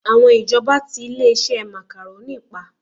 Àwọn ìjọba tí ilé-iṣẹ́ Macaroni pa